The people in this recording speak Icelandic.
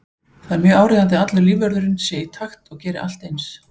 Það er mjög áríðandi að allur lífvörðurinn sé í takt og geri allt eins.